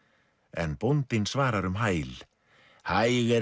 en bóndinn svarar um hæl hæg er